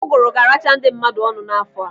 Uguru ga-aracha ndị mmadụ ọnụ n'afọ a.